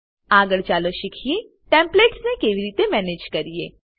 આગળ ચાલો શીખીએ ટેમ્પલેટ્સ ને કેવી રીતે મેનેજ કરીએ